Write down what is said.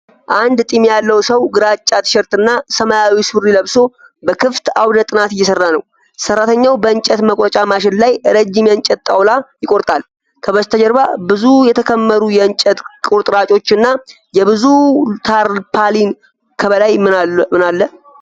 አንድ ጢም ያለው ሰው ግራጫ ቲሸርትና ሰማያዊ ሱሪ ለብሶ በክፍት አውደ ጥናት እየሰራ ነው። ሰራተኛው በእንጨት መቁረጫ ማሽን ላይ ረጅም የእንጨት ጣውላ ይቆርጣል። ከበስተጀርባ ብዙ የተከመሩ የእንጨት ቁርጥራጮችና የብሉ ታርፓሊን ከበላይ ምን አለ?